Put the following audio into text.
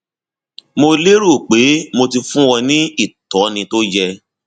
mo léro pé mo ti fún ọ ní ìtọni tó yẹ